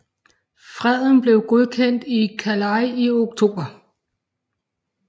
Freden blev godkendt i Calais i oktober